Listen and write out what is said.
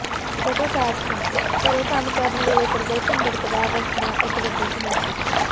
photo caption ਘਰੋਂ ਕੰਮ ਕਰਨ ਵੇਲੇ ਪ੍ਰਦਰਸ਼ਨ ਬਰਕਰਾਰ ਰੱਖਣਾ ਇਕ ਵੱਡੀ ਚੁਣੌਤੀ